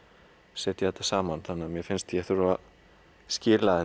setja þetta saman þannig að mér fannst ég þurfa að skila